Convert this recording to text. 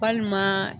Walima